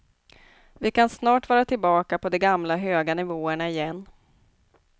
Vi kan snart vara tillbaka på de gamla, höga nivåerna igen.